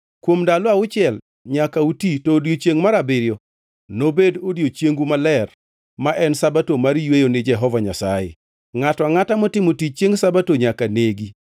Kuom ndalo auchiel nyaka uti to odiechiengʼ mar abiriyo nobed odiechiengu maler, ma en Sabato mar yweyo ni Jehova Nyasaye. Ngʼato angʼata motimo tich chiengʼ Sabato nyaka negi.